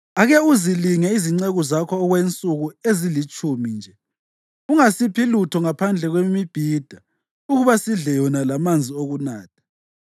“Ake uzilinge izinceku zakho okwensuku ezilitshumi nje: Ungasiphi lutho ngaphandle kwemibhida ukuba sidle yona lamanzi okunatha.